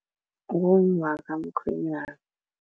Ngummakamkhwenyana.